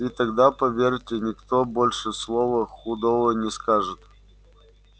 и тогда поверьте никто больше слова худого не скажет